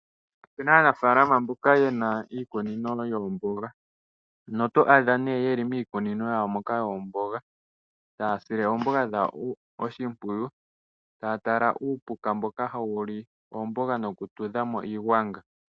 Opu na aanafalama mboka ye na iikunino yoomboga ano oto adja ne ye li miikunino yawo moka yoomboga taya sile oomboga dhawo oshimpwiyu taa tala uupuka mboka hawu li oombanga nokutudhamo iigwanga.